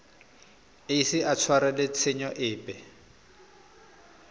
ise a tshwarelwe tshenyo epe